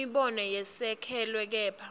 imibono yesekelwe kepha